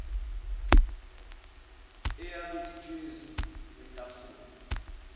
eyabe iphezu kwetafula